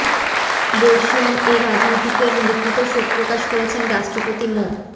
বর্ষীয়ান এ রাজনীতিকের মৃত্যুতে শোক প্রকাশ করেছেন রাষ্ট্রপতি মো